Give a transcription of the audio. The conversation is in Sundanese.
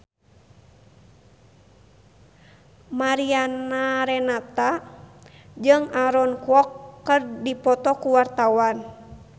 Mariana Renata jeung Aaron Kwok keur dipoto ku wartawan